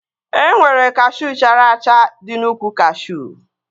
E nwere kashuu chara acha dị n'úkwù kashuu